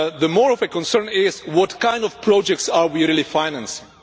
More of a concern is what kind of projects are we really financing?